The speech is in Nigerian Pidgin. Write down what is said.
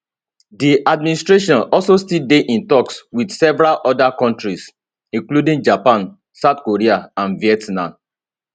di administration also still dey in toks wit several oda kontris including japan south korea and vietnam